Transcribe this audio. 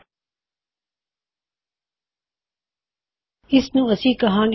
ਉਹ ਹੁਣ Alex Billy ਅਤੇ ਕਾਇਲ ਤੋਂ ਪੁਕਾਰੇ ਜਾ ਰਹੇ ਹਨ ਪਰ ਉਹਨਾ ਦੀ ਵੈਲਯੂ ਚੌਦਾਂ ਉੱਨੀ ਅਤੇ ਅਠਾਰਾਂ ਨੇ